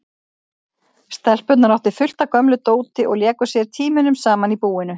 Stelpurnar áttu fullt af gömlu dóti og léku sér tímunum saman í búinu.